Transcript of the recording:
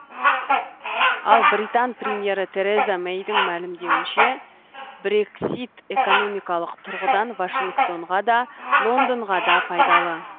ал британ премьері тереза мэйдің мәлімдеуінше брексит экономикалық тұрғыдан вашингтонға да лондонға да пайдалы